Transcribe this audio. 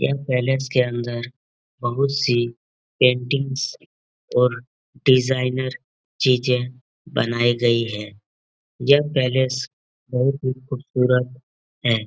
यह पैलेस के अंदर बहोत सी पेंटिंग्स और डिज़ाइनर चीजे बनाई गई है। यह पैलेस बहोत ही खूबसूरत है।